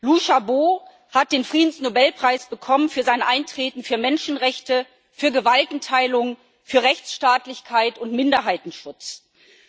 Liu Xiaobo hat den Friedensnobelpreis für sein Eintreten für Menschenrechte, für Gewaltenteilung, für Rechtsstaatlichkeit und Minderheitenschutz bekommen.